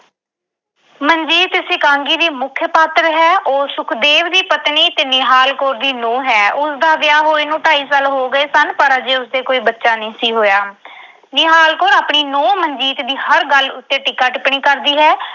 ਮਨਜੀਤ ਇਸ ਇਕਾਂਗੀ ਦੀ ਮੁੱਖ ਪਾਤਰ ਹੈ। ਉਹ ਸੁਖਦੇਵ ਦੀ ਪਤਨੀ ਤੇ ਨਿਹਾਲ ਕੌਰ ਦੀ ਨੂੰਹ ਹੈ। ਉਸਦਾ ਵਿਆਹ ਹੋਏ ਨੂੰ ਢਾਈ ਸਾਲ ਹੋ ਗਏ ਸਨ, ਪਰ ਅਜੇ ਉਸ ਦੇ ਕੋਈ ਬੱਚਾ ਨਹੀਂ ਸੀ ਹੋਇਆ। ਨਿਹਾਲ ਕੌਰ ਆਪਣੀ ਨੂੰਹ ਮਨਜੀਤ ਦੀ ਹਰ ਗੱਲ ਉੱਤੇ ਟੀਕਾ-ਟਿੱਪਣੀ ਕਰਦੀ ਹੈ